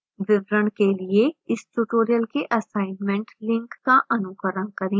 विवरण के लिए इस tutorial के assignment link का अनुकरण करें